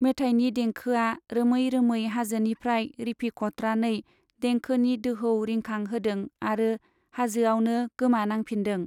मेथायनि दैंखोआ रोमै रोमै हाजोनिफ्राय रिफिखत्रानै देंखोनि दोहौ रिंखां होदों आरो हाजोयावनो गोमानांफिन्दों।